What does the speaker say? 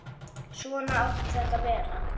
Svona átti þetta að vera.